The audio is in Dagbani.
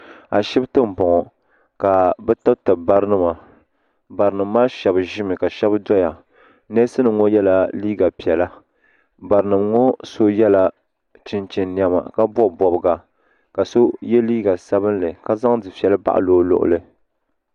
Ashibiti n bɔŋɔ ka bi tibiri bara nima bata nima ahɛba zime ka shɛba doya nɛsi nima ŋɔ yela liiga piɛla bari nima ŋɔ so yela chinchini nɛma ka bɔbi bɔbiga ka so ye liiga sabinli ka zaŋ dufeli baɣili o luɣili.